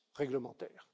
réglementaire